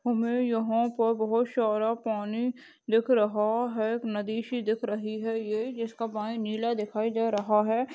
हमे यहाँ पर बहोत शारा पानी दिख रहा है नदी शी दिख रही है ये जिसका पानी नीला दिखाई दे रहा है।